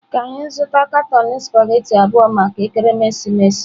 Ka anyị zụta katọn spaghetị abụọ maka ekeresimesi.